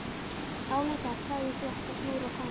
Álengdar sá í þvott á snúru og kamar.